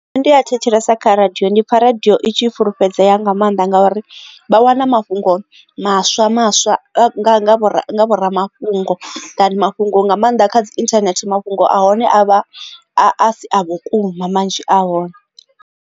Nṋe ndi a thetshelesa kha radio ndi pfha radio itshi i fhulufhedzea nga maanḓa ngauri vha wana mafhungo maswa maswa nga vhoramafhungo than mafhungo nga maanḓa kha dzi internet mafhungo a hone a vha a si a vhukuma manzhi a hone.